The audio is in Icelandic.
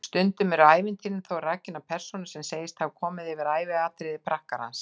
Stundum eru ævintýrin þó rakin af persónu sem segist hafa komist yfir æviatriði prakkarans.